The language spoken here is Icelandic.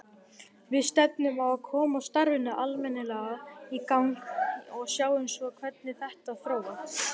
Við stefnum á að koma starfinu almennilega í gang og sjáum svo hvernig þetta þróast.